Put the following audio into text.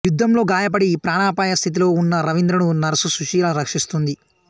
యుద్ధంలో గాయపడి ప్రాణాపాయ స్థితిలోవున్న రవీంద్రను నర్సు సుశీల రక్షిస్తుంది